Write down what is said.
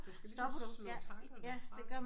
Du skal ligesom så slå tankerne fra